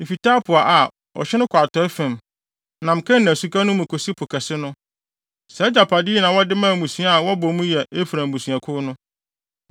Efi Tapua a, ɔhye no kɔ atɔe fam, nam Kana Suka no mu kosi Po Kɛse no. Saa agyapade yi na wɔde maa mmusua a wɔbɔ mu yɛ Efraim abusuakuw no.